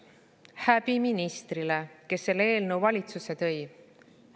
Häbi ministrile, kes selle eelnõu valitsusse tõi!